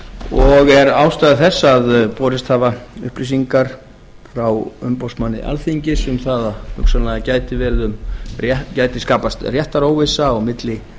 og er ástæða þess sú að borist hafa upplýsingar frá umboðsmanni alþingis um að hugsanlega gæti skapast réttaróvissa milli